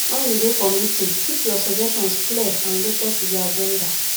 when you dey for meeting keep your suggestions clear and related to di agenda